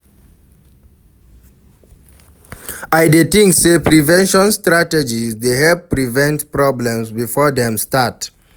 I dey think say prevention strategies dey help prevent problems before dem start.